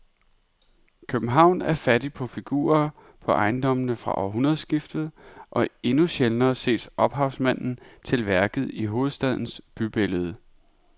København er fattig på figurer på ejendommene fra århundredskiftet og endnu sjældnere ses ophavsmanden til værket i hovedstadens bybillede.